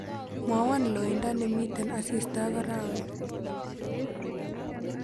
Mwowon loiindo nemiten asista ak arawet